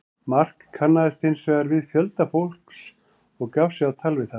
Mark kannaðist hins vegar við fjölda fólks og gaf sig á tal við það.